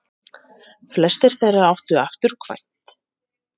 Fæstir þeirra áttu afturkvæmt.